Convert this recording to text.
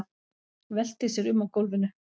Veltir sér um á gólfinu.